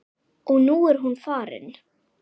Og nú er hún farin.